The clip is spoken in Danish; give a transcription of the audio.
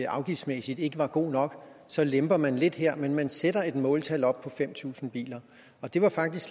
afgiftsmæssigt ikke var god nok så lemper man lidt her men man sætter et måltal op på fem tusind biler og det var faktisk